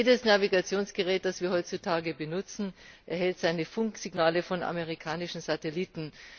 Jedes Navigationsgerät, das wir heutzutage benutzen, erhält seine Funksignale von amerikanischen Satelliten.